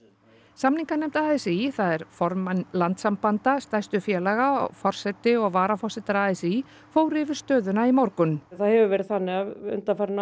samninganefnd a s í það er formenn landssambanda stærstu félaga forseti og varaforsetar a s í fóru yfir stöðuna í morgun það hefur verið þannig að undanfarin